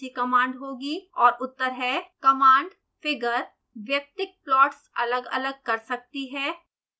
और उत्तर हैं